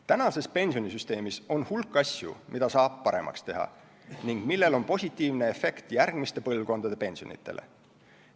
Tänases pensionisüsteemis on hulk asju, mida saab paremaks teha ning millel on positiivne efekt järgmiste põlvkondade pensionidele.